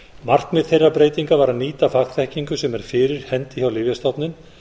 markmið þeirrar breytingar var að nýta fagþekkingu sem er fyrir hendi hjá lyfjastofnun